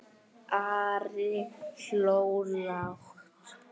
Ari hló lágt.